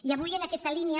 i avui en aquesta línia